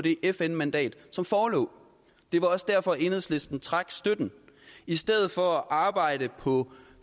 det fn mandat som forelå det var også derfor enhedslisten trak støtten i stedet for at arbejde på